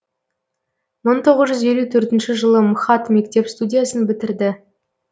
мың тоғыз жүз елу төртінші жылы мхат мектеп студиясын бітірді